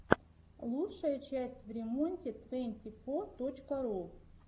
лучшая часть времонте твэнти фо точка ру